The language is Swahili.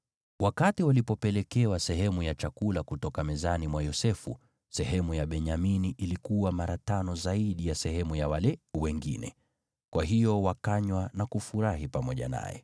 Wakati walipelekewa sehemu ya chakula kutoka mezani mwa Yosefu, sehemu ya Benyamini ilikuwa mara tano zaidi ya sehemu ya wale wengine. Kwa hiyo wakanywa na kufurahi pamoja naye.